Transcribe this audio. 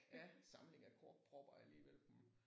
Ja samling af korkpropper alligevel hm